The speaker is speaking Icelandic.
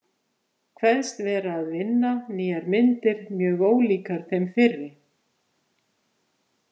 Kveðst vera að vinna nýjar myndir mjög ólíkar þeim fyrri.